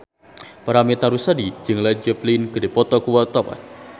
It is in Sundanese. Paramitha Rusady jeung Led Zeppelin keur dipoto ku wartawan